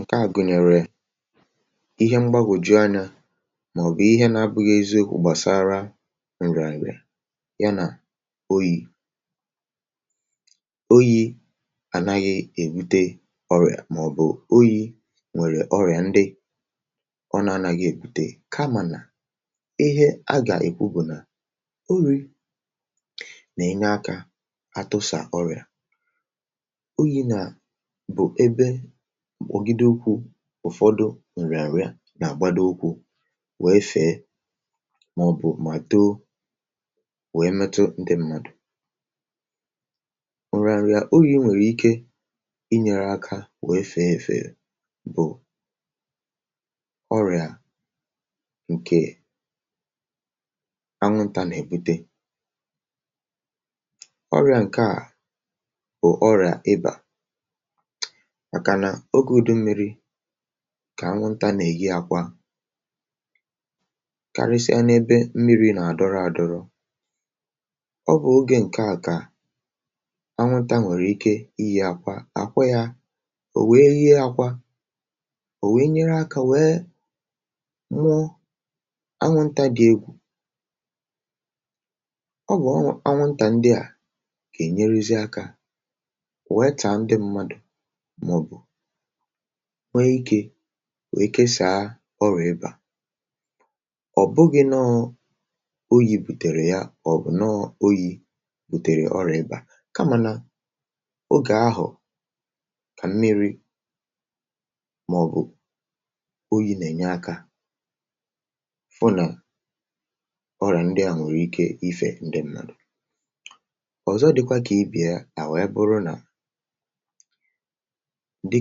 ǹkeà gụnyèrè ihe mgbagwòju anyȧ, màọ̀bụ̀ ihe nȧ-abụghị̇ eziokwu̇, gbàsara nrì ànyị̀ ya nà oyi̇. Oyi̇ ànaghị̇ èbute ọrịà, màọ̀bụ̀ oyi̇ nwèrè ọrịà ndị ọ nà-anȧghị̇ èbute. Kamà, ihe a gà-èkwu bụ̀ nà orí̇ nà-ènye akȧ atụsà ọrịà oyi̇, nà ụ̀fọdụ òrịà ṅ̀rịà ṅrịà nà-àgbado òkwù, wee fèe, màọ̀bụ̀ um mà too wèe metu ǹdị mmadụ̀. Ụrȧ ṅ̀rịà ogè i wèrè ike inyėrė ȧkȧ wèefe èfè bụ̀ ọrị̀à ǹkè anwụntà nà-èbute. Ọrị̀à ǹkè a bụ̀ ọrị̀à ịbà, kà anwụntȧ nà-èyi akwa karịsịa n’ebe mmiri̇ nà-àdọrọ̇ àdọrọ̇. Ọ bụ̀ ogè ǹke a kà anwụntȧ nwèrè ike iyi̇ akwa àkwa yȧ, ò wèe ihe akwa, ò wèe nyere akȧ, wèe nwụọ. Anwụntȧ dị̇ egwù, ọ bụ̀ anwụntà ndị à kà è nyerezi̇ akȧ wèe taa ndị̇ mmadụ̀, nwee ikė, nwèe kesàa ọrị̀bà. Ọ̀ bụghị̇ nọọ̇ oyi̇ bùtèrè ya, ọ̀ bụ̀ nọọ̇ oyi̇ bùtèrè ọrị̀bà, kamà nà ogè ahụ̀ kà mmiri̇ màọ̀bụ̀ oyi nà-ènye akȧ fụ nà ọrà, ndị à nwere ike ifè ndị mmadù ọ̀zọ. um Dịkwa kà ibì ya nà, wee bụrụ nà ndị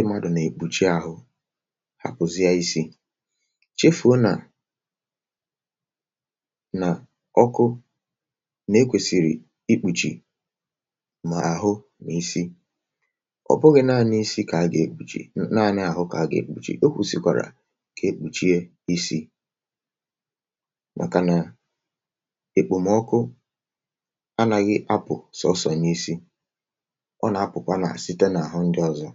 ị̀màdụ̀ nà-èkpùchi ahụ̇, hàpụ̀zie isi̇, chefùo nà nà ọkụ nà-ekwèsìrì ikpùchì mà àhụ mà isi. Ọ̀ bụghị̇ naanị̇ isi̇ kà a gà-èkpùchì, nà àhụ kà a gà-èkpùchì. Ekwùsikwàrà kà ekpùchie isi̇, màkà nà èkpòmọkụ anȧghị apụ̀ sọsọ̀ n’isi̇. ǹdewo.